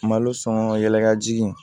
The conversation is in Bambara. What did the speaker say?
Malo sɔn yɛlɛ